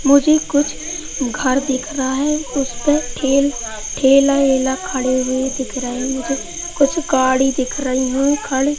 मुझे कुछ घर दिख रहा है उस पर टेल ठेला ऐला खडे हुए दिख रहे है मुझे कुछ गाड़ी दिख रही है खड़ी--